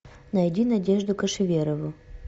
найди надежду кошеверову